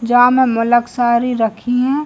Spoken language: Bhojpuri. जहाँ में मलक सारी रखी हैं।